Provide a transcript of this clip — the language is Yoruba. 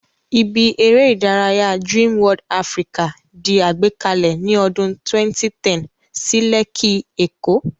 Ibi eré ìdárayá Dream World Africa di àgbékalẹ̀ ní ọdún 2010 sí Lẹ́kí, èkó